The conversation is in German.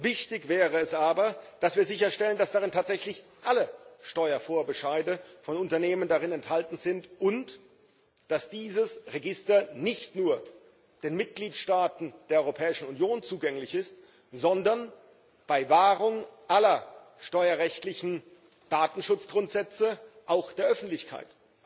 Wichtig wäre es aber, dass wir sicherstellen, dass darin tatsächlich alle Steuervorbescheide von Unternehmen enthalten sind und dass dieses Register nicht nur den Mitgliedstaaten der Europäischen Union zugänglich ist, sondern bei Wahrung aller steuerrechtlichen Datenschutzgrundsätze auch der Öffentlichkeit.